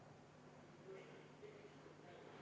Ettepanek ei leidnud toetust.